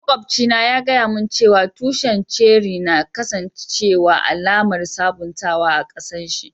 Maƙwabci na ya gaya mun cewa tushin ceri na kasance alaman sabuntawa a kasan shi.